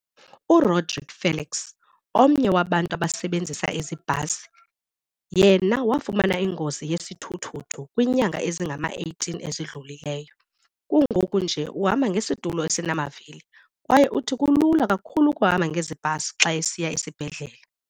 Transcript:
URodrique Felix, omnye wabantu abasebenzisa ezi bhasi, yena wafumana ingozi yesithuthuthu kwiinyanga ezingama-18 ezidlulileyo. Kungoku nje uhamba ngesitulo esinamavili kwaye uthi kulula kakhulu ukuhamba ngezi bhasi xa esiya esibhedlele.